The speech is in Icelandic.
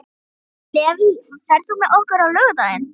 Levý, ferð þú með okkur á laugardaginn?